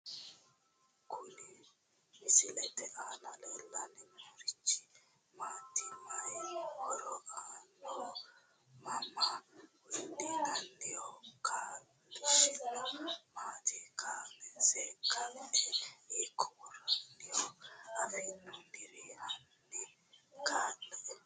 Kuni misilete aana leelani noorichi maati mayi horo aanoho mama wodhinaniho kaaloshisino maati kaanse ka`e hiiko woraniho afinooniri hani kelle`e?